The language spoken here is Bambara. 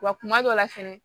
Wa kuma dɔ la fɛnɛ